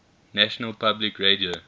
national public radio